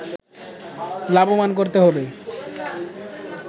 লাভবান করতে হবে